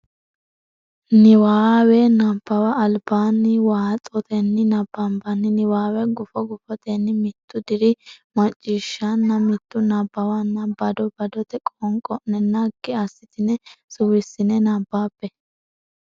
Niwaawe Nabbawa Albaanni waaxotenni nabbabbini niwaawe gufo gufotenni mittu diri macciishshanna mittu nabbawanna bado badote qoonqo ne naggi assitine suwissine nabbabbe.